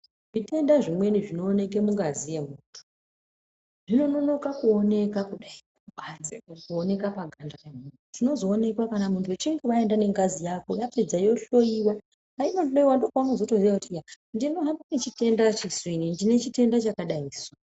Zvitenda zvimweni zvinooneke mungazi yemuntu zvinononoka kuoneka kudai kubanze, kuoneka paganda remuntu. Zvinoonekwa kana muntu wechinge waenda nengazi yako yapedza yohloyewa. Painohloyiwa ndipo paunotozoziya kuti iya ndinohamba ndine chitenda chakadaisu.